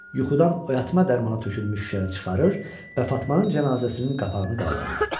Yuxudan oyatma dərmanı tökülmüş şüşəni çıxarır və Fatmanın cənazəsinin qapağını qaldırır.